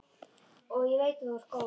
Og ég veit að þú ert góð.